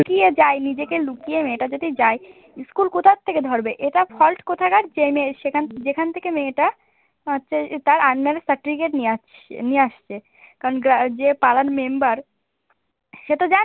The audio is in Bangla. লুকিয়ে যায়, নিজেকে লুকিয়ে মেয়েটা যদি যায় ইস্কুল কোথা থেকে ধরবে? এটা fault কোথাকার জেনে সেখান যেখান থেকে মেয়েটা হচ্ছে তার under এ certificate নিয়ে আসছে~ নিয়ে আসছে কারণ যে পাড়ার member সে তো